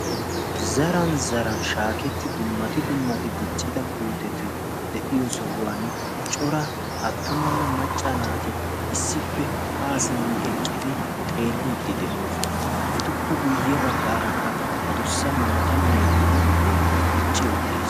zaran zaran shaaketti dummati dummati diccida puuteti de'iyo sohuwan cora attumanne macca naati issippe haa simmi eqqidi xeelliiddi de'oosona. etuppe guyye baggaarakka a dussa maata meraidio puute dicci uttiis